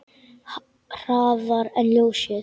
Hraðar en ljósið.